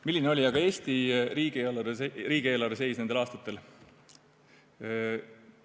Milline oli aga Eesti riigieelarve seis nendel aastatel?